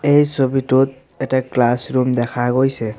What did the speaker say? এই ছবিটোত এটা ক্লাছৰুম দেখা গৈছে।